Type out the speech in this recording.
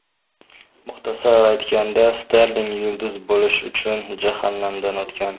Muxtasar aytganda, Sterling yulduz bo‘lish uchun jahannamdan o‘tgan.